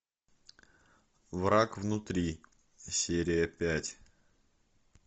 враг внутри серия пять